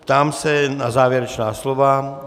Ptám se na závěrečná slova.